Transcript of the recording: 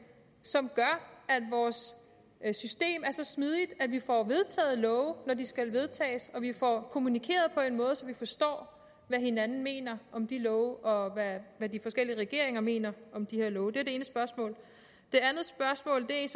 som gør at vores system er så smidigt at vi får vedtaget love når de skal vedtages og vi får kommunikeret på en måde så vi forstår hvad hinanden mener om de love og hvad de forskellige regeringer mener om de her love det ene spørgsmål det andet spørgsmål er